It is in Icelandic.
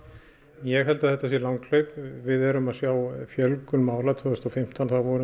ég held að þetta sé langhlaup við erum að sjá fjölgun mála tvö þúsund og fimmtán voru